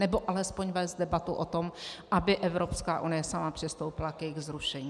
Anebo alespoň vést debatu o tom, aby Evropská unie sama přistoupila k jejich zrušení.